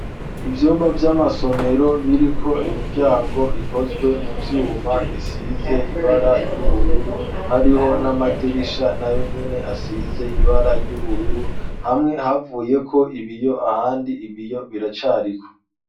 Ivyumba, vy'amasomero, biriko imiryango, ikozwe mu vyuma, risize ibara ry'ubururu; hariho n'amadirisha, na yonyene, asize ibara ry'ubururu, hamwe, havuyeko ibiyo, ahandi, ibiyo biracariko.